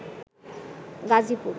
Gazipur